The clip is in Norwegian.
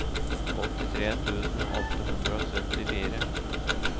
åttitre tusen åtte hundre og syttifire